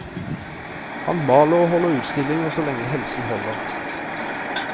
Han maler og holder utstillinger så lenge helsen holder.